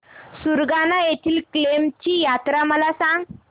सुरगाणा येथील केम्ब ची यात्रा मला सांग